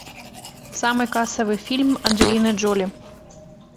самый кассовый фильм анджелины джоли